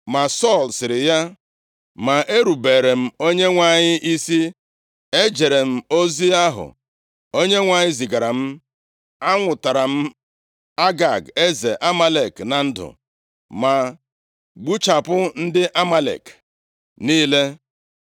Ma Sọl sịrị ya, “Ma erubeere m Onyenwe anyị isi. Ejere m ozi ahụ Onyenwe anyị zigara m. Anwụtara m Agag eze Amalek na ndụ, ma gbuchapụ ndị Amalek niile.